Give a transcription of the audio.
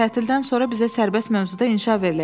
Tətildən sonra bizə sərbəst mövzuda inşa veriləcək.